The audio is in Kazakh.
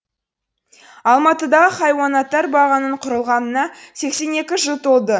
алматыдағы хайуанаттар бағының құрылғанына сексен екі жыл толды